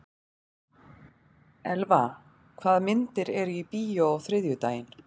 Elva, hvaða myndir eru í bíó á þriðjudaginn?